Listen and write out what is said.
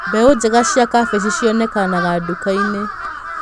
Mbegũ njega cia kabici cionekanaga nduka-inĩ.